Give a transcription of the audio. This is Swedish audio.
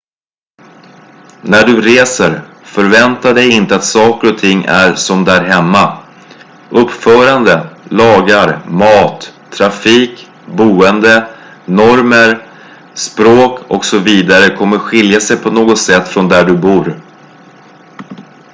"när du reser förvänta dig inte att saker och ting är som "där hemma"". uppförande lagar mat trafik boende normer språk och så vidare kommer skilja sig på något sätt från där du bor.